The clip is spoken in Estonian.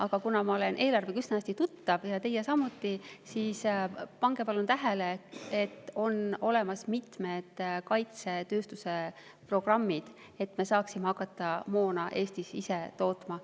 Aga kuna ma olen eelarvega üsna hästi tuttav ja teie samuti, siis pange palun tähele, et on olemas mitmed kaitsetööstuse programmid, et me saaksime ise Eestis hakata moona tootma.